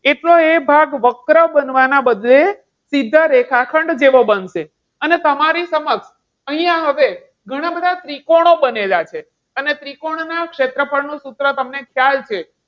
એટલો એ ભાગ વક્ર બનવાના બદલે સીધા રેખાખંડ જેવો બનશે. અને તમારી સમક્ષ અહીંયા આવે ઘણા બધા ત્રિકોણો બનેલા છે. અને ત્રિકોણ ના ક્ષેત્રફળ નું સૂત્ર તમને ખ્યાલ છે.